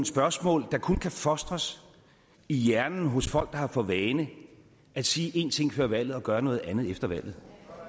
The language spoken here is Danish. spørgsmål der kun kan fostres i hjernen hos folk der har for vane at sige én ting før valget og gøre noget andet efter valget